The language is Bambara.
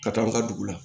Ka taa an ka dugu la